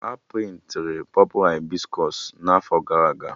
A prịntịrụ Pọpụ Hibiskọs n'afọ ndị gara aga